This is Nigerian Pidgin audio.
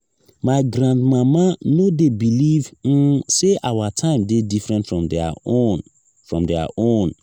my grandmama no dey believe um sey our time dey different from their own. from their own.